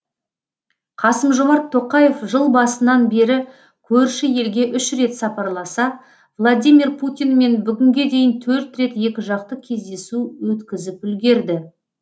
қасым жомарт тоқаев жыл басынан бері көрші елге үш рет сапарласа владимир путинмен бүгінге дейін төрт рет екіжақты кездесу өткізіп үлгерді